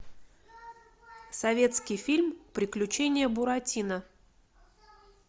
советский фильм приключения буратино